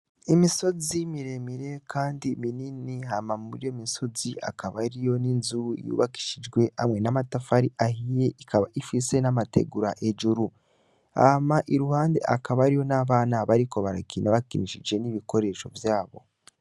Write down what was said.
Imisozi miremire kandi minini hama muri iyo misozi hakaba hariyo n'inzu yubakishijwe hamwe n'amatafari ahiye ikaba ifise n'amategura hejuru. Hama iruhande hakaba hariyo n'abana bariko barakina bakinishije n'ibikoresho vyabo.